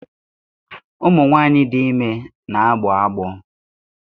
Ụmụ nwanyị dị ime na-agbọ agbọ